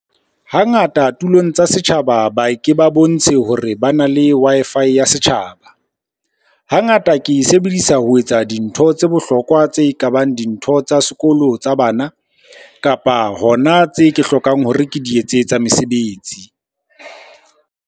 Hangata tulong tsa setjhaba ba ke ba bontshe hore bana le Wi-Fi ya setjhaba. Hangata ke e sebedisa ho etsa dintho tse bohlokwa tse ka bang dintho tsa sekolo tsa bana, kapa hona tse ke hlokang hore ke di etse tsa mesebetsi.